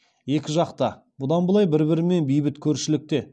екі жақта бұдан былай бір бірімен бейбіт көршілікте